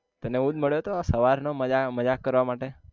તને હુજ મળ્યો તો હવાર નો મજાક મજાક કરવા માટે